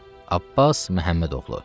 Abbas Məhəmmədoğlu.